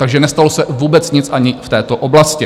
Takže nestalo se vůbec nic ani v této oblasti.